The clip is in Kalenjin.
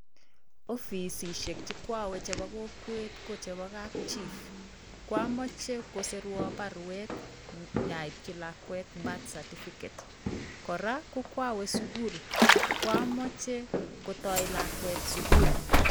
Ofisishiek chi kwowe chebo kokwet ko chebo kap chief kwamoche kosirwa baruet nyaipchi lakwet birthcertificate kora ko kwawe sukul kwomoche kotoi lakwet sukul.